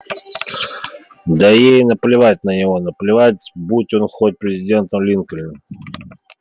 да ей наплевать на него наплевать будь он хоть президент линкольн